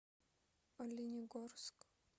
оленегорск